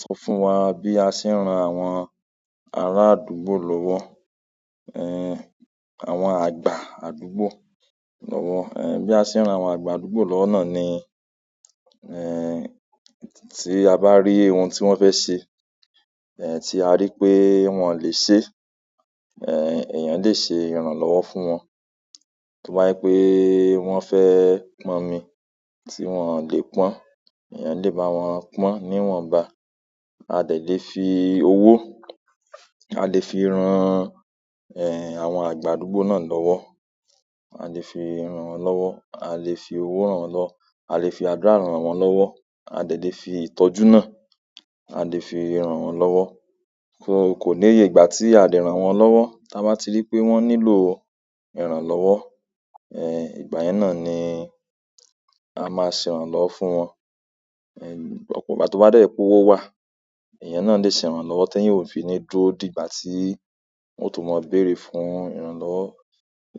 Sọ fún wa bí a se ń ran àwọn ará àdúgbò lọ́wọ́, ẹ àwọn àgbà àdúgbò lọ́wọ́. Ẹ̀ bí a ṣe ń ran àwọn àgbà àdúgbò lọ́wọ́ náà ni, ẹ tí a bá rí ohun tí wọ́n fẹ́ se, ẹ tí a rí pé wọn ò lè se, ẹ èèyàn lè se ìrànlọ́wọ́ fún wọn. To bàjẹ́ pé wọ́n fẹ́ pọ́n omi tí wọ́n ò lè pọ́n, èèyàn lè bá wọn pọ́n ní iwọ́nbá. A dẹ lè fi owó, a lè fi ran ẹ àwọn àgbà àdúgbò náà lọ́wọ́, a lè fi ran wọn lọ́wọ́, a lè fi owó ràn wọn lọwọ, a lè fi àdúrà ràn wọ́n lọ́wọ́, a dẹ lè fi ìtọ́jú náà, a lè fi ìrànwọ́ lọ́wọ́. So kò níye ìgbà tí a lè ràn wọ́n lọ́wọ́ tí a bá ti rí pé wọ́n nílò ìrànlọ́wọ́. Ẹ ìgbà yẹn náà ni a máa ṣe ìrànlọ́wọ́ fún wọn. Ẹ nígbà tó bá dẹ́ pé owó wà, èèyàn náà lè ṣe ìrànlọ́wọ́ tí èèyàn ò fi ní dúró dìgbà tí wọn o to mọ béèrè fún ìrànlọ́wọ́.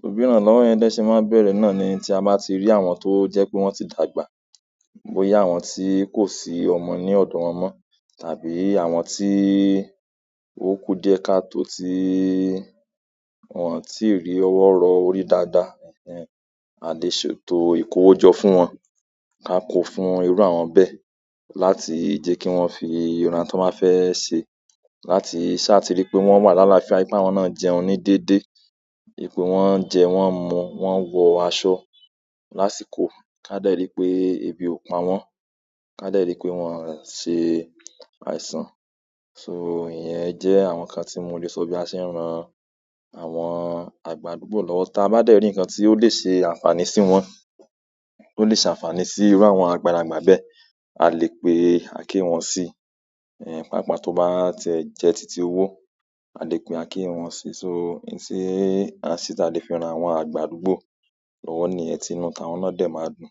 Òbí ìrànlọ́wọ́ yẹn dẹ ṣe máa n bẹ̀rẹ̀ náà ni tí a bá ti rí àwọn tó jẹ́ pé wọ́n ti dàgbà. Boyá àwọn tí kò sí ọmọ ní ọdọ wọn mọ́ tàbí àwọn tí ò kú diẹ́ ká tó tí wọ́n ti rí ọwọ́ rọ orí dáadáa. Ẹ̀hen a lè ṣètò ìkówójọ fún wọn, ká kò fún irú àwọn bẹ́ẹ̀ láti jẹ́ kí wọ́n fi ìran tó máa fẹ́ ṣe. Láti ṣá tí rí pé wọ́n wà lálàáfíà, wípé àwọn náà jẹun ní déédéé, ìpè wọn ń jẹ, wọ́n ń mú, wọ́n ń wọ aṣọ lásìkò. Ká dẹ́ rí pé ebi ò pa wọ́n, ká dẹ́ rí pé wọn ò ṣe àìsàn. So ìyẹn jẹ́ àwọn nǹkan tí mo lè sọ bí a ṣe ń ran àwọn àgbà àdúgbò lọ́wọ́. Tí a bá dẹ́ rí nǹkan tí ó lè ṣe àǹfààní sí wọn, tó lè ṣe àǹfààní sí irú àwọn àgbàlagbà bẹ́ẹ̀, a lè pé akié wọ́n sí. Ẹ pàápàá tó bá tiẹ́ jẹ títí owó, a lè pé akié wọ́n sí. So in ti a se ta lè fi ran àwọn àgbà àdúgbò lọ́wọ́ niyẹn ti inú ta wọ́n náà dẹ́ máa dùn.